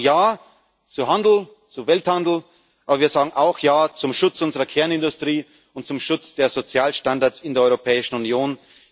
Wir sagen ja zu Handel, zu Welthandel, aber wir sagen auch ja zum Schutz unserer Kernindustrie und zum Schutz der Sozialstandards in der Europäischen Union.